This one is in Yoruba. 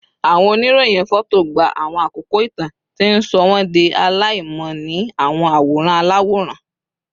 Awọn oniroyin fọto gba awọn akoko itan, ti n sọ wọn di alaimọ ni awọn aworan alaworan